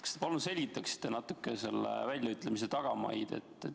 Kas te palun selgitaksite natuke selle väljaütlemise tagamaid?